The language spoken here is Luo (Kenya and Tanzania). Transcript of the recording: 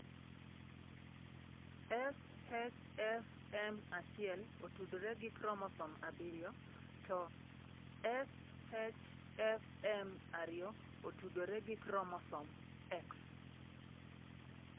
SHFM1 otudore gi chromosome 7, to SHFM2 otudore gi chromosome X.